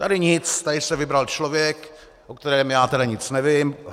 Tady nic, tady se vybral člověk, o kterém tedy já nic nevím.